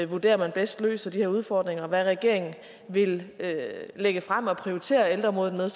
vurderer at man bedst løser de her udfordringer og hvad regeringen vil lægge frem og prioritere ældreområdet med